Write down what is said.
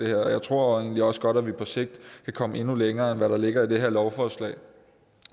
jeg tror egentlig også godt at vi på sigt kan komme endnu længere end hvad der ligger i det her lovforslag